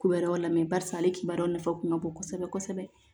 Kowɛrɛ lamɛn barisa ale kibaru nafa kun ka bon kosɛbɛ kosɛbɛ